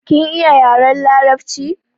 Kin iya yaren larabci?